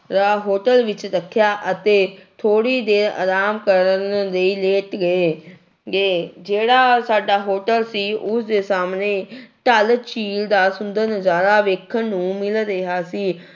ਰਾ hotel ਵਿੱਚ ਰੱਖਿਆ ਅਤੇ ਥੋੜ੍ਹੀ ਦੇਰ ਆਰਾਮ ਕਰਨ ਲਈ ਲੇਟ ਗਏ ਗਏ ਜਿਹੜਾ ਸਾਡਾ hotel ਸੀ ਉਸਦੇ ਸਾਹਮਣੇ ਡੱਲ ਝੀਲ ਦਾ ਸੁੰਦਰ ਨਜ਼ਾਰਾ ਵੇਖਣ ਨੂੰ ਮਿਲ ਰਿਹਾ ਸੀ।